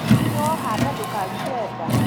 Ningĩ woha nda ndũkarute nda